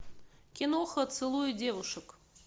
киноха целую девушек